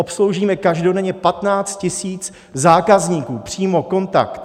Obsloužíme každodenně 15 000 zákazníků, přímo, kontakt.